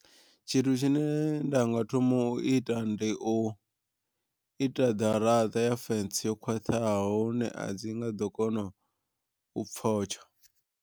Tshithu tshine ndanga thoma u ita ndi u ita ḓaraṱa ya fentsi yo khwaṱhaho i ne a dzi nga ḓo kona u pfotsha.